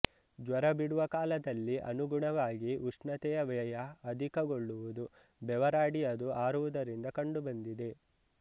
ಜ್ವರ ಬಿಡುವ ಕಾಲದಲ್ಲಿ ಅನುಗುಣವಾಗಿ ಉಷ್ಣತೆಯ ವ್ಯಯ ಅಧಿಕಗೊಳ್ಳುವುದು ಬೆವರಾಡಿ ಅದು ಆರುವುದರಿಂದ ಕಂಡುಬಂದಿದೆ